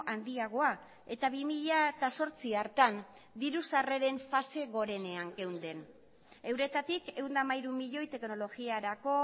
handiagoa eta bi mila zortzi hartan diru sarreren fase gorenean geunden euretatik ehun eta hamairu milioi teknologiarako